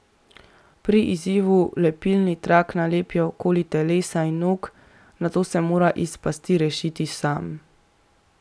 Pri izzivu lepilni trak nalepijo okoli telesa in nog, nato se mora iz pasti rešiti sam.